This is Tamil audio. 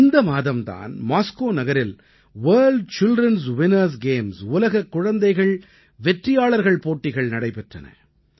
இந்த மாதம் தான் மாஸ்கோ நகரில் வர்ல்ட் childrenஸ் வின்னர்ஸ் கேம்ஸ் உலக குழந்தை வெற்றியாளர்கள் போட்டிகள் நடைபெற்றன